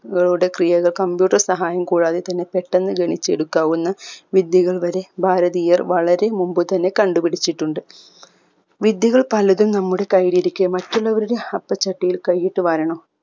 കളുടെ ക്രിയത computer സഹായം കൂടാതെ തന്നെ പെട്ടന്ന് ഗണിച്ചെടുക്കാവുന്ന വിദ്യകൾ വരെ ഭാരതീയർ വളരെ മുമ്പ് തന്നെ കണ്ടുപിടിച്ചട്ടുണ്ട് വിദ്യകൾ പലതും നമ്മുടെ കൈലിരിക്കെ മറ്റുള്ളവരുടെ അപ്പ ചട്ടിയിൽ കൈയ്യിട്ട് വാരണോ